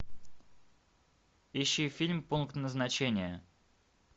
ищи фильм пункт назначения